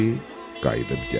qayıdıb gəldi.